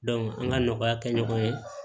an ka nɔgɔya kɛ ɲɔgɔn ye